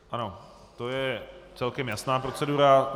Ano, to je celkem jasná procedura.